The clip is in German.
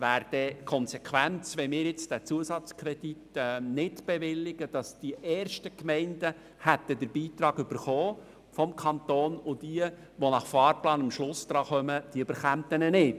Die Konsequenz, wenn wir den Zusatzkredit nicht bewilligen, wäre, dass die ersten Gemeinden den Beitrag des Kantons erhalten hätten, und die anderen, welche gemäss Fahrplan am Schluss an der Reihe sind, nicht.